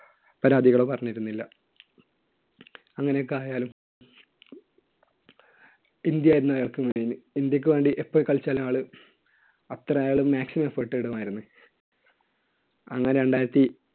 പരാതികളോ പറഞ്ഞിരുന്നില്ല. അങ്ങനെയൊക്കെ ആയാലും ഇന്ത്യ ആയിരുന്നു അയാള്‍ക്ക് main. ഇന്ത്യയ്ക്കുവേണ്ടി എപ്പോൾ കളിച്ചാലും ആള് അത്ര അയാളുടെ maximum effort ഇടുമായിരുന്നു. അന്ന് രണ്ടായിരത്തി